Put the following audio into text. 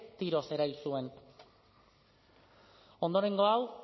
tiroz erail zuen ondorengo hau